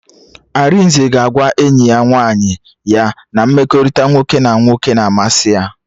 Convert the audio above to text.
Arinze ga-agwa enyi nwaanyị ya na mmekọrịta nwoke na nwoke na-amasị ya